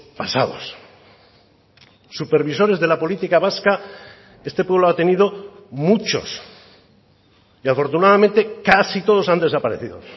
pasados supervisores de la política vasca este pueblo ha tenido muchos y afortunadamente casi todos han desaparecido